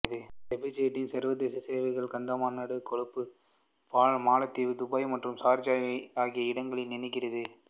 ஸ்பைஸ்ஜெட்டின் சர்வதேச சேவைகள் காத்மாண்டு கொழும்பு மாலத்தீவு துபாய் மற்றும் சார்ஜா ஆகிய இடங்களை இணைகின்றது